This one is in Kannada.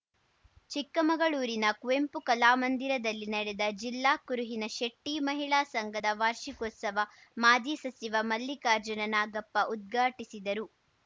ಚಿಕ್ಕಮಗಳೂರಿನ ಕುವೆಂಪು ಕಲಾಮಂದಿರದಲ್ಲಿ ನಡೆದ ಜಿಲ್ಲಾ ಕುರುಹಿನ ಶೆಟ್ಟಿಮಹಿಳಾ ಸಂಘದ ವಾರ್ಷಿಕೋತ್ಸವ ಮಾಜಿ ಸಚಿವ ಮಲ್ಲಿಕಾರ್ಜುನ ನಾಗಪ್ಪ ಉದ್ಘಾಟಿಸಿದರು